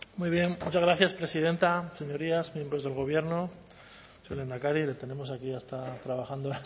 muy bien muchas gracias presidenta señorías miembros del gobierno señor lehendakari le tenemos aquí hasta trabajando horas